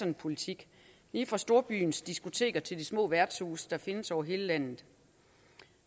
en politik lige fra storbyens diskoteker til de små værtshuse der findes over hele landet